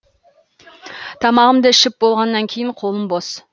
тамағымды ішіп болғаннан кейін қолым бос